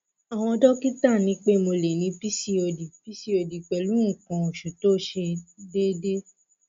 àwọn dọkítà ní pé mo lè ní pcod pcod pẹlú nǹkan oṣù tó ṣe déédé